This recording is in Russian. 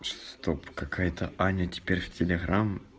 стоп какая-то аня теперь в телеграмм